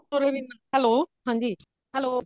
hello ਹਾਂਜੀ hello